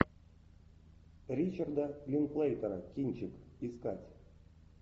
ричарда линклейтера кинчик искать